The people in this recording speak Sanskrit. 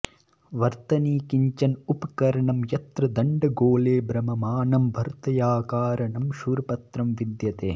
वर्तनी किञ्चन उपकरणं यत्र दण्डगोले भ्रममाणं वर्तन्याकारकं क्षुरपत्रं विद्यते